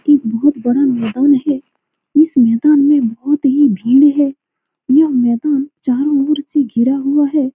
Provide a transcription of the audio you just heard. एक बहुत बड़ा मैदान है इस मैदान में बहुत ही भीड़ हैं यह मैदान चारों ओर से घिरा हुआ है।